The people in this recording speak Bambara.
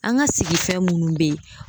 An ka sigifɛn munnu bɛ yen.